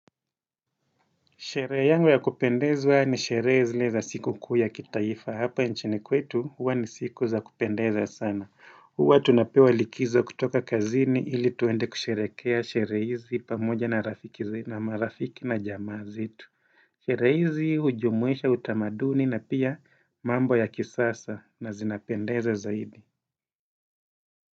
Sherehe yangu ya kupendezwa ni sherehe zile za siku kuu ya kitaifa hapa nchini kwetu huwa ni siku za kupendezwa sana. Huwa tunapewa likizo kutoka kazini ili tuende kusherehekea sherehe hizi pamoja na marafiki na jamaa zetu. Sherehe hizi hujumuisha utamaduni na pia mambo ya kisasa na zinapendeza zaidi.